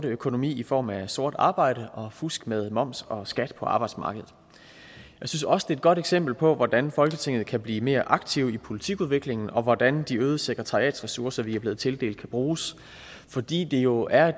økonomi i form af sort arbejde og fusk med moms og skat på arbejdsmarkedet jeg synes også det er et godt eksempel på hvordan folketinget kan blive mere aktivt i politikudvikling og hvordan de øgede sekretariatsressourcer vi er blevet tildelt kan bruges fordi det jo er